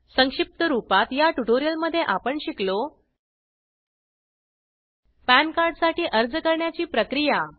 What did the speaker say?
संक्षिप्त रूपात या ट्युटोरियलमध्ये आपण शिकलो पॅनकार्ड साठी अर्ज करण्याची प्रक्रिया